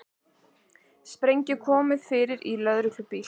Sprengju komið fyrir í lögreglubíl